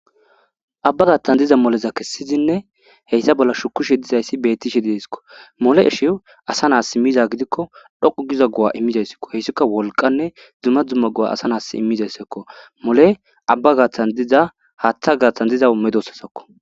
Abba gaatan diza moleza kessizinne shukishe de7eeskko. mole asho asa naasi miza gidikko dhqqu giza go7a imizayssako hessika wolqqanne dumma dumma go7a asa na7as immizayssako . Mole abba gaatan diza haththa gaaththan diza medoosatako.